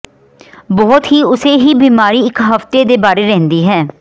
ਬਹੁਤ ਹੀ ਉਸੇ ਹੀ ਬੀਮਾਰੀ ਇੱਕ ਹਫ਼ਤੇ ਦੇ ਬਾਰੇ ਰਹਿੰਦੀ ਹੈ